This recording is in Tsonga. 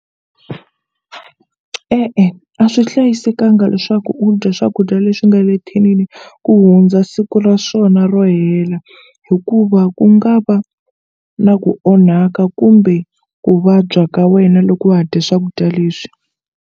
E-e a swi hlayisekanga leswaku u dya swakudya leswi nga le thinini ku hundza siku ra swona ro hela hikuva ku nga va na ku onhaka kumbe ku vabya ka wena loko wa ha dya swakudya leswi.